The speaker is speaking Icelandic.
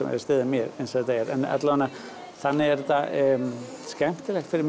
að styðja mig eins og þetta er en allavega þannig er þetta skemmtilegt fyrir